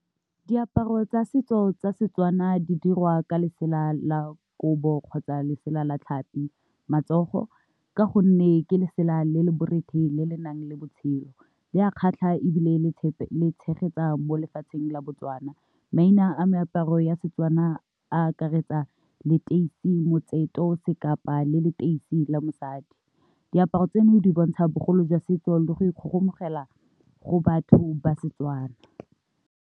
Diaparo tsa setso tsa Setswana di dirwa ka lesela la kobo kgotsa lesela la tlhapi matsogo ka gonne ke lesela le le borethe le le nang le botshelo, le a kgatlha ebile le tshegetsa mo lefatsheng la Botswana, maina a meaparo ya setswana a akaretsa leteisi, motseto, sekapa le leteisi la mosadi, diaparo tseno di bontsha bogolo jwa setso le go ikgogomogela go batho ba Setswana.